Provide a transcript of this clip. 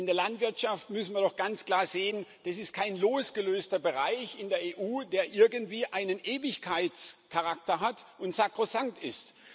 In der Landwirtschaft müssen wird doch ganz klar sehen Das ist kein losgelöster Bereich in der EU, der irgendwie einen Ewigkeitscharakter hat und sakrosankt ist.